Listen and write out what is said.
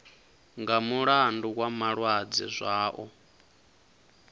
nga mulandu wa malwadze zwao